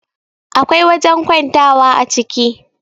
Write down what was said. akwai wajen kwantawa a ciki